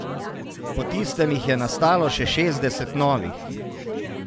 Po tistem jih je nastalo še šestdeset novih.